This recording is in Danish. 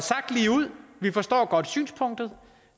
sagt lige ud vi forstår godt synspunktet